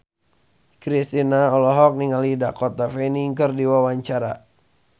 Kristina olohok ningali Dakota Fanning keur diwawancara